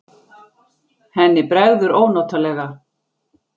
Henni bregður ónotalega.